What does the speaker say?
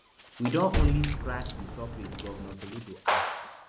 we don only scratch di surface govnor soludo add